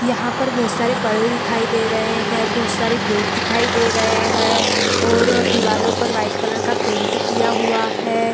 यहाँ पर बहुत सारे पर्दे दिखाई दे रहे है और बहुत सारे गेट दिखाई दे रहे है और दिवालो पर व्हाइट कलर का पेंट किया हुआ है ।